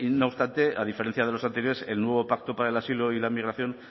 no obstante a diferencia de los anteriores el nuevo pacto para el asilo y la migración